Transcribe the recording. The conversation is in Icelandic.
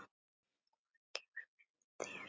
Hvað gefur vinnan þér?